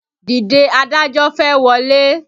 Dìde adájọ́ fẹ́ wọlé!